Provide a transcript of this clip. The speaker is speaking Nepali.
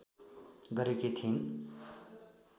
गरेकी थिइन्